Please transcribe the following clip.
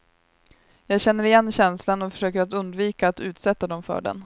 Jag känner igen känslan och försöker att undvika att utsätta dem för den.